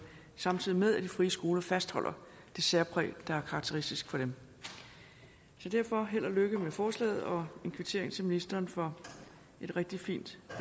samtidig med at de frie skoler fastholder det særpræg der er karakteristisk for dem derfor held og lykke med forslaget og en kvittering til ministeren for et rigtig fint